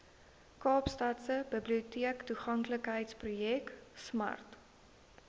kaapstadse biblioteektoeganklikheidsprojek smart